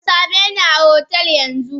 Kasameni a hotel yanzu!